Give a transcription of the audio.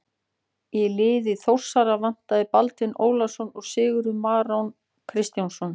Í liði Þórsara vantaði Baldvin Ólafsson og Sigurð Marinó Kristjánsson.